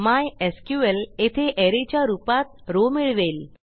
MySQL येथे array च्या रूपात रॉव मिळवेल